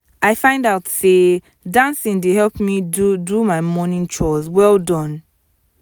i find out say dancing dey help me do do my morning chores well done